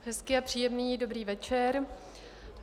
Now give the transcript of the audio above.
Hezký a příjemný dobrý večer.